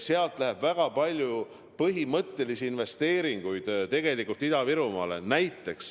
Sealt läheb väga palju põhimõttelisi investeeringuid Ida-Virumaale.